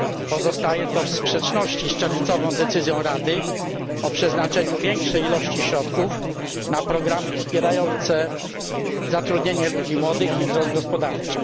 Pozostaje to w sprzeczności z czerwcową decyzją Rady o przeznaczeniu większej ilości środków na programy wspierające zatrudnienie ludzi młodych i wzrost gospodarczy.